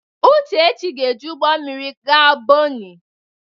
Uchechi ga-eji ụgbọ mmiri gaa Bonnị.